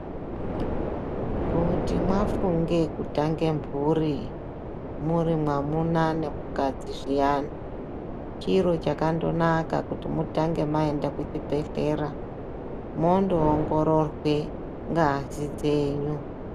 Kuti mwafunge kutange mburi muri mwamuna nemukadzi zviyani chiro chakandonaka kuti mutange maenda kuchibhedhlera mondoongororwe ngazi dzenyu.